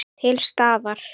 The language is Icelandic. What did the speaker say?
Til staðar.